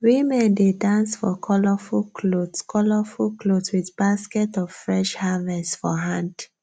women dey dance for colourful cloth colourful cloth with basket of fresh harvest for hand